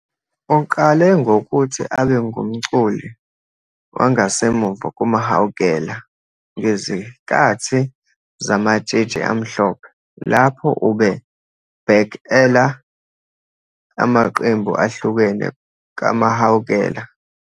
Uqale ngokuthi abengumculi wangasemuva kuMahawukela ngezikathi zaMatshitshi Amhlophe lapho ube "back-ela" amaqembu ahlukene kaMahawukela.